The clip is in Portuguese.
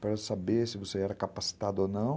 para saber se você era capacitado ou não.